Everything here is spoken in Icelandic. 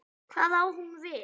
Hvað á hún við?